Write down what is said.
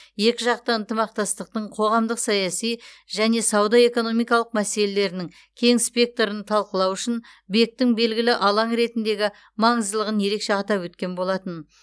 екіжақты ынтымақтастықтың қоғамдық саяси және сауда экономикалық мәселелерінің кең спектрін талқылау үшін бек тің белгілі алаң ретіндегі маңыздылығын ерекше атап өткен болатын